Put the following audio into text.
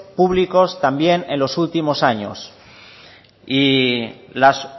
públicos también en los últimos años y las